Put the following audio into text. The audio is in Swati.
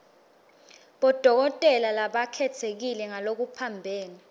bodokotela labakhetsekile ngalokuphambene